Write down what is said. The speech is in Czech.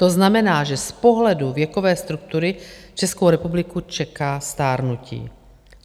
To znamená, že z pohledu věkové struktury Českou republiku čeká stárnutí.